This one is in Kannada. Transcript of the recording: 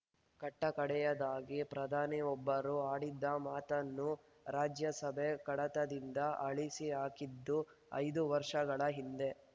ಕಟ್ಟಕಡೆಯದಾಗಿ ಪ್ರಧಾನಿಯೊಬ್ಬರು ಆಡಿದ್ದ ಮಾತನ್ನು ರಾಜ್ಯಸಭೆ ಕಡತದಿಂದ ಅಳಿಸಿಹಾಕಿದ್ದು ಐದು ವರ್ಷಗಳ ಹಿಂದೆ